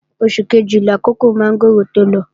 Oṣù kejì làkókò mọ́ngòrò tó lọ